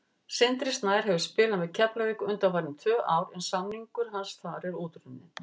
Sindri Snær hefur spilað með Keflavík undanfarin tvö ár en samningur hans þar er útrunninn.